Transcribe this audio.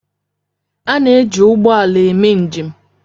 Ana eji ụgbọala eme njem.